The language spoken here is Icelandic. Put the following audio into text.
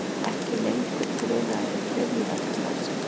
Ekki lengur grunaðir um hryðjuverkastarfsemi